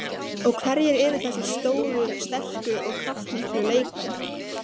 Og hverjir eru þessir stóru, sterku og kraftmiklu leikmenn?